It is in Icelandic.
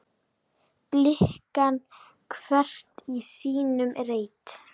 blikna hvert í sínum reit